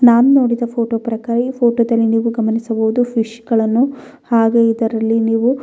ನಾನು ನೋಡಿದ ಈ ಫೋಟೋ ಪ್ರಕಾರ ಈ ಫೋಟೋದಲ್ಲಿ ನೀವು ಗಮನಿಸಬಹುದು. ಫಿಶ್ಗಳನ್ನು ಹಾಗೂ ಇದರಲ್ಲಿ ನೀವು --